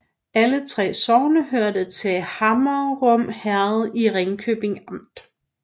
Alle 3 sogne hørte til Hammerum Herred i Ringkøbing Amt